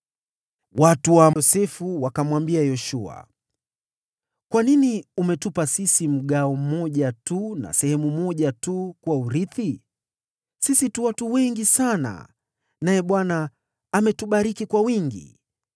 Watu wa Yosefu wakamwambia Yoshua, “Kwa nini umetupa sisi mgawo mmoja tu na sehemu moja tu kuwa urithi? Sisi tu watu wengi sana, na Bwana ametubariki kwa wingi.”